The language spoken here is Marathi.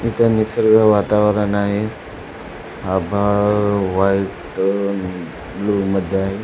निसर्ग वातावरण आहे आभाळ व्हाइट ब्ल्यु मध्ये आहे.